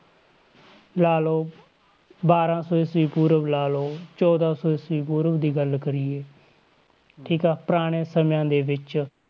ਲਾ ਲਓ, ਬਾਰਾਂ ਸੌ ਈਸਵੀ ਪੂਰਵ ਲਾ ਲਓ ਚੌਦਾਂ ਸੌ ਈਸਵੀ ਪੂਰਵ ਦੀ ਗੱਲ ਕਰੀਏ, ਠੀਕ ਆ ਪੁਰਾਣੇ ਸਮਿਆਂ ਦੇ ਵਿੱਚ,